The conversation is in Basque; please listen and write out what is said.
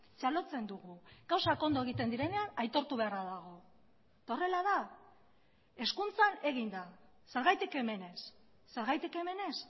txalotzen dugu gauzak ondo egiten direnean aitortu beharra dago eta horrela da hezkuntzan egin da zergatik hemen ez zergatik hemen ez